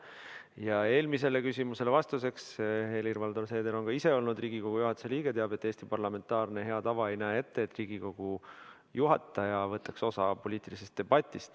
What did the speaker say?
Ja eelmisele küsimusele vastuseks, Helir-Valdor Seeder on ka ise olnud Riigikogu juhatuse liige ja teab, et Eesti parlamentaarne hea tava ei näe ette, et Riigikogu juhataja võtaks osa poliitilisest debatist.